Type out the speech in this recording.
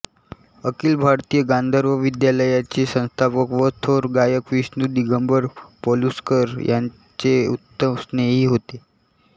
अखिल भारतीय गांधर्व महाविद्यालयाचे संस्थापक व थोर गायक विष्णू दिगंबर पलुसकर यांचे उत्तम स्नेही होते